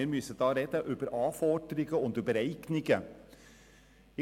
Wir müssen über Anforderungen und Eignungen reden.